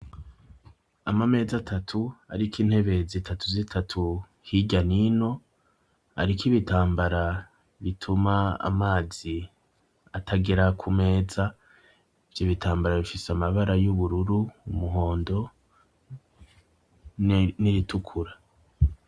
Ama meza atatu ariko intebe zitatu zitatu hirya nino hariko ibitambara bituma amazi atagera ku meza ivyo bitambara bifise amabara y'ubururu umuhondo n'iritukura.